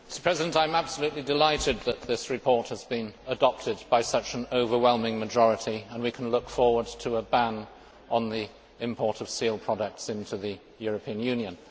Mr President, I am absolutely delighted that this report has been adopted by such an overwhelming majority and we can look forward to a ban on the import of seal products into the European Union.